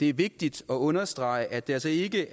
det er vigtigt at understrege at det altså ikke